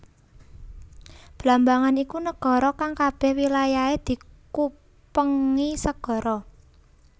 Blambangan iku negara kang kabeh wilayahe dikupengi segara